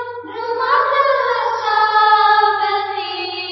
ফুল্লকুসুমিতদ্রুমদলশোভিনী